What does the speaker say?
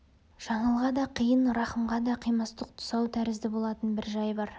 жаңылға да қиын рахымға да қимастық тұсау тәрізді болатын бір жай бар